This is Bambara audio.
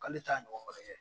K'ale t'a ɲɔgɔn wɛrɛ kɛ.